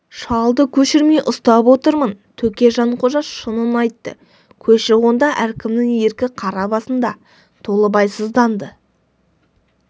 шалды көшірмей ұстап отырмын төке жанқожа шынын айтты көші қонда әркімнің еркі қара басында толыбай сызданды